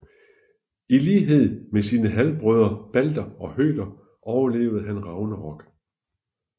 I lighed med sine halvbrødre Balder og Høder overlever han Ragnarok